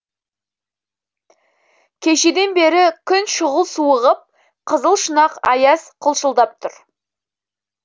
кешеден бері күн шұғыл суығып қызыл шұнақ аяз қылшылдап тұр